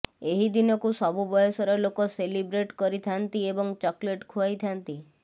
ଏହି ଦିନକୁ ସବୁ ବୟସର ଲୋକ ସେଲିବ୍ରେଟ କରିଥାନ୍ତି ଏବଂ ଚକୋଲେଟ ଖୁଆଇଥାନ୍ତି